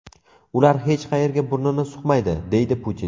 Ular hech qayerga burnini suqmaydi”, deydi Putin.